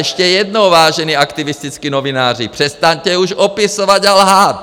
Ještě jednou, vážení aktivističtí novináři, přestaňte už opisovat a lhát!